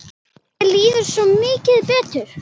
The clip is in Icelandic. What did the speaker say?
Mér líður svo mikið betur.